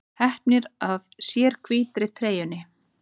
Hneppir að sér hvítri treyjunni.